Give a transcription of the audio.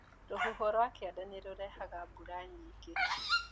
Rũhuho rwa kianda nĩrũrehaga mbura nyingĩ.